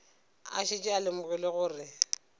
a šetše a lemogile gore